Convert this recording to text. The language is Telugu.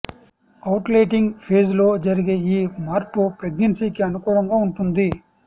ఒవ్యులేటింగ్ ఫేజ్ లో జరిగే ఈ మార్పు ప్రెగ్నెన్సీకి అనుకూలంగా ఉంటుంది